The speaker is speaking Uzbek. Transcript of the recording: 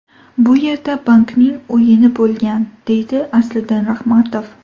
Bu yerda bankning o‘yini bo‘lgan”, deydi Asliddin Rahmatov.